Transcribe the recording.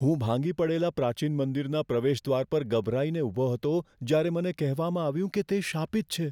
હું ભાંગી પડેલા પ્રાચીન મંદિરના પ્રવેશદ્વાર પર ગભરાઈને ઊભો હતો જ્યારે મને કહેવામાં આવ્યું કે તે શાપિત છે.